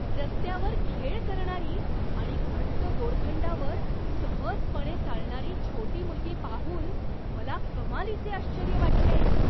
रस्त्यावर खेळ करणारी आणि घट्ट दोरखंडावर सहजपणे चालणारी छोटी मुलगी पाहून मला कमालीचे आश्चर्य वाटले.